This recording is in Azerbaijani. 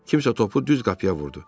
Kimsə topu düz qapıya vurdu.